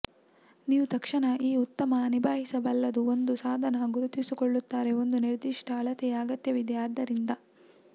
ನೀವು ತಕ್ಷಣ ಈ ಉತ್ತಮ ನಿಭಾಯಿಸಬಲ್ಲದು ಒಂದು ಸಾಧನ ಗುರುತಿಸಿಕೊಳ್ಳುತ್ತಾರೆ ಒಂದು ನಿರ್ದಿಷ್ಟ ಅಳತೆಯ ಅಗತ್ಯವಿದೆ ಆದ್ದರಿಂದ